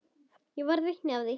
Ég varð vitni að því.